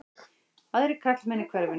Aðrir karlmenn í hverfinu?